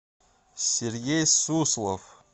сергей суслов